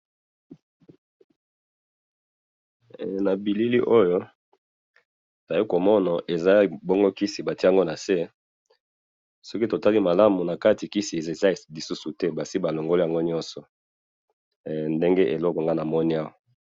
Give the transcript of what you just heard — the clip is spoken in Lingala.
Na moni kisi bati yango na se,